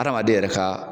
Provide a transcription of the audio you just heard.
Adamaden yɛrɛ ka